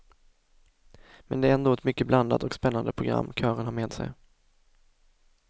Men det är ändå ett mycket blandat och spännande program kören har med sig.